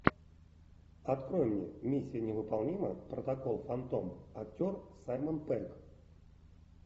открой мне миссия невыполнима протокол фантом актер саймон пегг